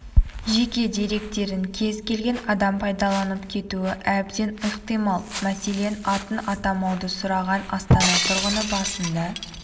жеке деректерін кез-келген адам пайдаланып кетуі әбден ықтимал мәселен атын атамауды сұраған астана тұрғыны басында